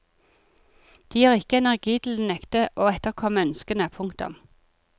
De har ikke energi til å nekte å etterkomme ønskene. punktum